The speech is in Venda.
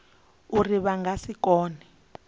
uri vha nga si kone